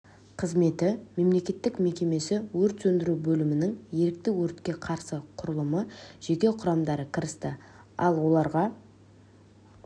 қызметі мемлекеттік мекемесі өрт сөндіру бөлімінің ерікті өртке қарсы құрылымы жеке құрамдары кірісті ал оларға